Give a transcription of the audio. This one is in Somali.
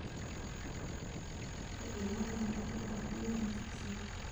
Ka ilaali digaagga biyaha wasakhaysan.